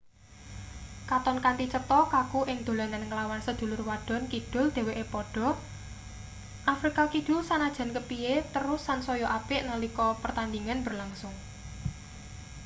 katon kanthi cetha kaku ing dolanan nglawan sedulur wadon kidul dheweke padha afrika kidul sanajan kepiye terus sansaya apik nalika pertandhingan berlangsung